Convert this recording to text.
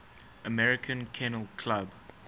american kennel club